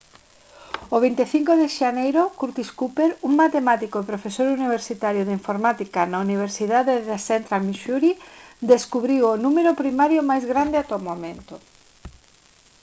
o 25 de xaneiro curtis cooper un matemático e profesor universitario de informática na universidade de central missouri descubriu o número primario máis grande ata o momento